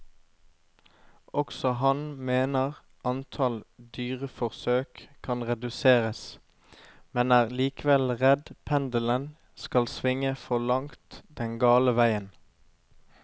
Også han mener antall dyreforsøk kan reduseres, men er likevel redd pendelen skal svinge for langt den gale veien.